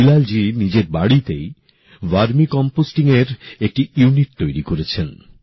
বিলালজী নিজের বাড়িতেই ভার্মি কম্পোস্টিংএর একটি ইউনিট তৈরী করেছেন